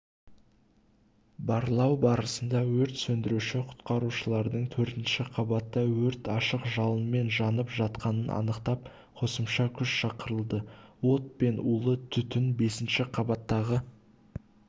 барлау барысында өрт сөндіруші-құтқарушылар төртінші қабатта өрт ашық жалынмен жанып жатқанын анықтап қосымша күш шақырылды от пен улы түтін бесінші қабаттағы